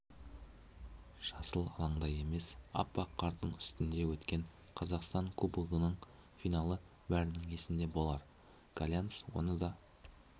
жасыл алаңда емес аппақ қардың үстінде өткен қазақстан кубогының финалы бәрінің есінде болар каньяс оны да